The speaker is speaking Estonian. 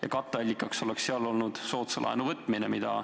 Ja katteallikaks oleks seal olnud soodsa laenu võtmine.